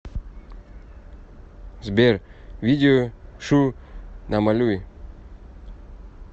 сбер видео шу намалюй